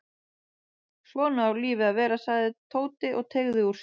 Svona á lífið að vera sagði Tóti og teygði úr sér.